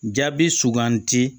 Jaabi suganti